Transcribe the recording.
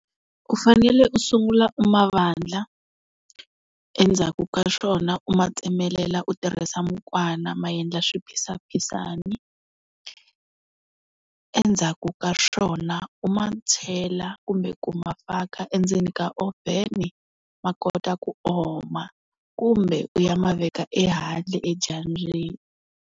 U fanele u sungula u ma vandla endzhaku ka swona u ma tsemelela u tirhisa mukwana ma endla swiphisaphisani, endzhaku ka swona u ma chela kumbe ku ma faka endzeni ka oven ma kota ku oma kumbe u ya ma veka ehandle edyambyini.